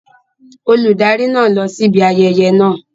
Olùdarí náà ń lọ síbi ayẹyẹ náà.